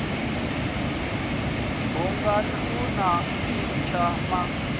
bunga na u tshintsha ma